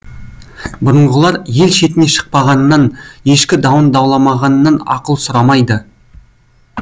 бұрынғылар ел шетіне шықпағаннан ешкі дауын дауламағаннан ақыл сұрамайды